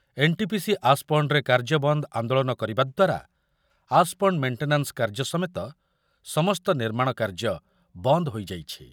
NTPC ଆସ୍‌ପଣ୍ଡ୍‌ରେ କାର୍ଯ୍ୟବନ୍ଦ ଆନ୍ଦୋଳନ କରିବା ଦ୍ୱାରା ଆସ୍‌ପଣ୍ଡ୍ ମେଣ୍ଟେନାନ୍‌ସ୍‌ କାର୍ଯ୍ୟ ସମେତ ସମସ୍ତ ନିର୍ମାଣ କାର୍ଯ୍ୟ ବନ୍ଦ ହୋଇଯାଇଛି।